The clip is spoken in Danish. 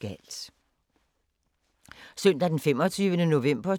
Søndag d. 25. november 2018